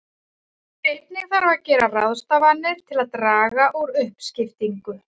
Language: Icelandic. Einnig þarf að gera ráðstafanir til að draga úr uppskiptingu.